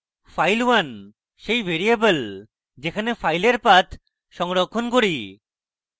file1 সেই variable যেখানে file1 path সংরক্ষণ করি